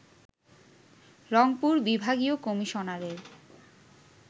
রংপুর বিভাগীয় কমিশনারের